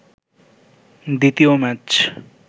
দ্বিতীয় ম্যাচ